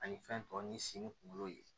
Ani fɛn tɔw ni sen kunkolo ye